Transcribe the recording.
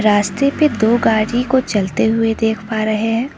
रास्ते पे दो गाड़ी को चलते हुए देख पा रहे हैं।